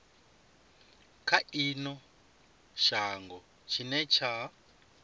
kha ino shango tshine tsha